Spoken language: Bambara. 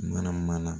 Mana mana